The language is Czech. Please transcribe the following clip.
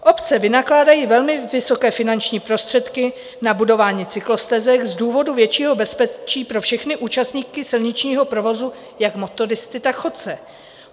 Obce vynakládají velmi vysoké finanční prostředky na budování cyklostezek z důvodu většího bezpečí pro všechny účastníky silničního provozu, jak motoristy, tak chodce.